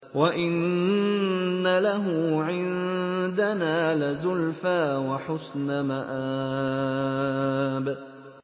وَإِنَّ لَهُ عِندَنَا لَزُلْفَىٰ وَحُسْنَ مَآبٍ